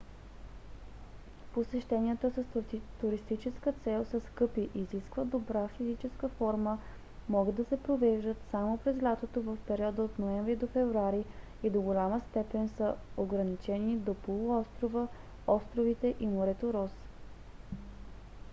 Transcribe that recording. посещенията с туристическа цел са скъпи изискват добра физическа форма могат да се провеждат само през лятото в периода от ноември до февруари и до голяма степен са ограничени до полуострова островите и морето рос